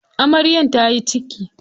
Amaryar ta yi ciki.